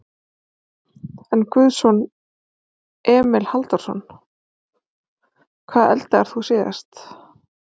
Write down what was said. Börn: Einn guðson Emil Halldórsson.Hvað eldaðir þú síðast?